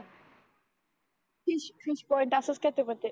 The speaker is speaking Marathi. फिश फिश पॉट असच काही तरी म्हणतात.